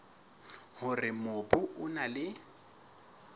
hore mobu o na le